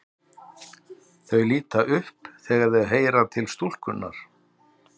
Þau líta upp þegar þau heyra til stúlkunnar.